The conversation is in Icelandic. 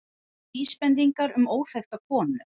Vísbendingar um óþekkta konu